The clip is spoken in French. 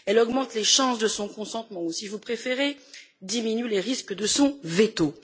Elle augmente les chances de son consentement ou, si vous préférez, diminue les risques de son veto.